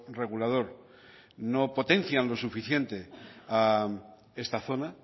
regulador no potencian lo suficiente a esta zona